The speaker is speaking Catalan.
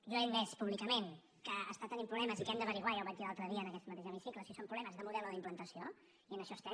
jo he admès públicament que està tenint problemes i que hem d’esbrinar ja ho vaig dir l’altre dia en aquest mateix hemicicle si són problemes de model o d’implantació i en això estem